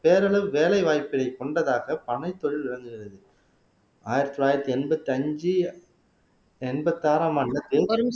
வேலை வாய்ப்பை கொண்டதாக பனை தொழில் விளங்குகிறது ஆயிரத்தி தொள்ளாயிரத்தி எண்பத்தி அஞ்சு எண்பத்தி ஆறாம் ஆண்டு